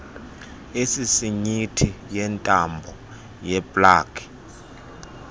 esisinyithi yentambo yeplagi